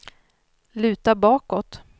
luta bakåt